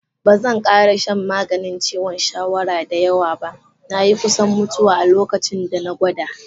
Ba zan kara shan maganin ciwon shawara da yawa ba, na yi kusan mutuwa a locacinda na gwada.